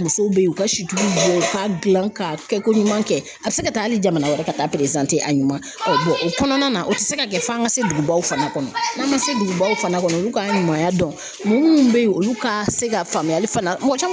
Musow be yen u ka si jugu dɔw ka gilan ka kɛ ko ɲuman kɛ a be se ka taa hali jamana wɛrɛ ka taa a ɲuman o kɔnɔna na o te se ka kɛ f'an ka se dugubaw fana kɔnɔ n'an ma se dugubaw fana kɔnɔ olu ka ɲumanya dɔn mɔgɔ munnu be yen olu ka se ka faamuyali fana mɔgɔ caman